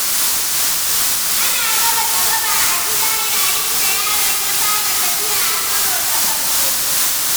Ana raba tsaraba a gida yayin da yaron ya fara tafiya a karo na farko.